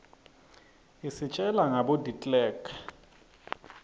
isitjela nagabo deklerek